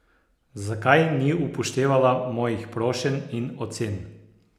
Zakaj ni upoštevala mojih prošenj in ocen?